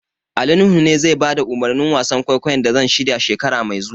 Ali Nuhu ne zai bada umarnin wasan kwaikwayon da zan shirya, shekara mai zuwa.